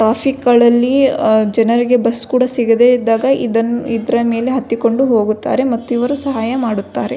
Traffic ಗಳಲ್ಲಿ ಅ ಜನರಿಗೆ ಬಸ್ಸ್ ಕೂಡ ಸಿಗದೆ ಇದ್ದಾಗ ಇದನ್ನು ಇದರ ಮೆಲೆ ಹತ್ತಿಕೊಂಡು ಹೋಗುತ್ತಾರೆ ಮತ್ತು ಇವರು ಸಹಾಯ ಮಾಡುತ್ತಾರೆ.